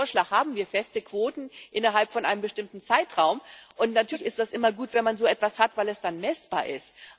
In diesem Vorschlag haben wir feste Quoten innerhalb eines bestimmten Zeitraums, und natürlich ist es immer gut, wenn man so etwas hat, weil es dann messbar ist.